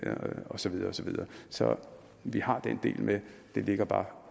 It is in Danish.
og så videre og så videre så vi har den del med den ligger bare